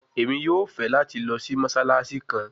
Emi yoo fẹ lati lọ si Mossalassi kan